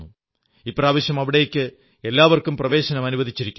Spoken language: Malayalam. ഇപ്രാവശ്യം അവിടേക്ക് എല്ലാവർക്കും പ്രവേശനം അനുവദിച്ചിരിക്കുന്നു